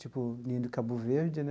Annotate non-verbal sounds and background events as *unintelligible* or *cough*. Tipo, *unintelligible* do Cabo Verde, né?